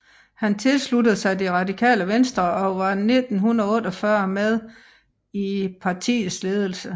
Han tilsluttede sig Det Radikale Venstre og var fra 1948 med i partiets ledelse